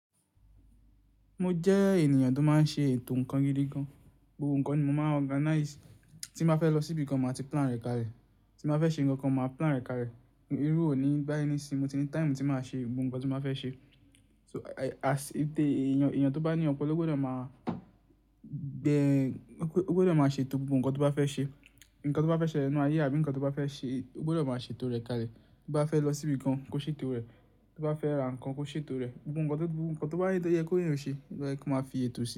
Mo jẹ́ ènìyàn tó máa ń ṣe ètò ǹkan gidi gan. Gbogbo ǹkan ni mo máa ń organize. Tí mo bá fẹ́ lọ sí ibìkan, màá ti plan rẹ̀ kalẹ̀. Tí mo fẹ́ ṣe ǹkan kan, màá plan rẹ̀ kalẹ̀. Irú òní bàyí ni sin, mo ti ní time tí màá ṣe gbogbo ǹkan tí n báa fẹ́ ṣe. So èeyàn, èeyàn tó bá ní ọ̀pọ̀lọpọ̀ ló gbọdọ̀ máa bẹ̀, ló gbọdọ̀ máa ṣe tò gbogbo ǹkan tó bá fẹ́ ṣe. Ǹkan tó bá fẹ́ ṣẹlẹ̀ nínú ayé àbí ǹkan tó bá fẹ́ ṣe, ó gbọdọ̀ máa ṣe tò rẹ̀ kalẹ̀. Bó bá fẹ́ lọ sí ibìkan, kó ṣe tò rẹ̀. Bó bá fẹ́ ra ǹkan, kó ṣe tò rẹ̀. Gbogbo ǹkan tó, gbogbo ǹkan tó bá yẹ kí èèyàn ò ṣe, lóyẹ kó máa fi ètò ṣe.